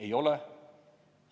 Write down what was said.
Ei ole.